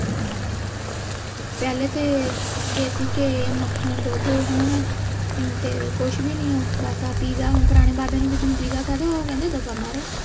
ਪਹਿਲੇ ਤੇ ਦੇਸੀ ਘੈ ਮੱਖਣ ਦੁੱਧ ਹੁਣ ਹਮ ਤੇ ਕੁਸ਼ ਵੀ ਨਹੀਂ ਹੈ ਬਸ ਆਹ ਪਿੱਜਾ ਹੁਣ ਪੁਰਾਣੇ ਬਾਬਿਆਂ ਨੂੰ ਕਿਸੇ ਨੂੰ ਪਿੱਜਾ ਕਹਿ ਦੋ ਉਹ ਕਹਿੰਦੇ ਦਫ਼ਾ ਮਾਰੋ